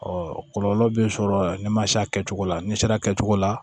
kɔlɔlɔ bɛ sɔrɔ ni ma se a kɛcogo la n'i sera a kɛcogo la